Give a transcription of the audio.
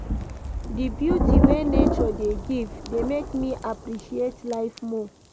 Di beauty wey nature dey give dey make me appreciate life more.